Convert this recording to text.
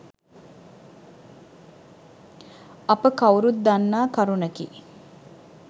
අප කව්රුත් දන්නා කරුණකි